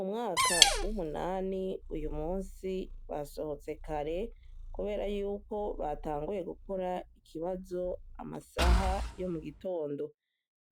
Umwaka w'umunani, uyu munsi basohotse kare kubera yuko batanguye gukora ikibazo amasaha yo mu gitondo,